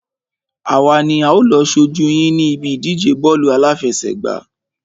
Àwa ni a ó lọ ṣojú yín ní ibi ìdíje bọ́ọ̀lù àláfẹsẹ̀gbá.